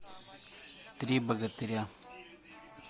три богатыря